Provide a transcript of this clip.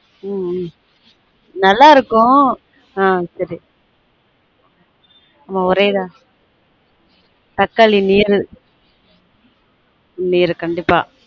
ஹம் ஹம் நல்லா இருக்கும் ஒரே இதா தக்காளி நீரு நீரு கண்டிப்பா